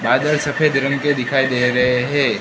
बादल सफेद रंग के दिखाई दे रहे हैं।